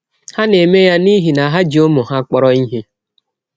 Ha na - eme ya n’ihi na ha ji ụmụ ha kpọrọ ihe.